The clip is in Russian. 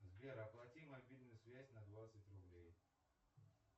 сбер оплати мобильную связь на двадцать рублей